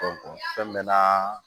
fɛn mɛ na